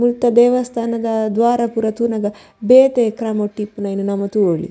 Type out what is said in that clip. ಮುಲ್ತ ದೇವಸ್ಥಾನದ ದ್ವಾರ ಪೂರ ತೂನಗ ಬೇತೆ ಕ್ರಮಟಿಪ್ಪುನವೆನ್ ನಮ ತೂವೊಲಿ.